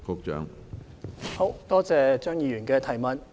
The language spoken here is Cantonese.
感謝張議員的補充質詢。